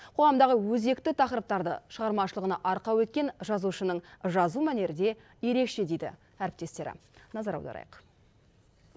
қоғамдағы өзекті тақырыптарды шығармашылығына арқау еткен жазушынының жазу мәнері де ерекше дейді әріптестері назар аударайық